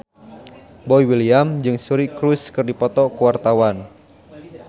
Boy William jeung Suri Cruise keur dipoto ku wartawan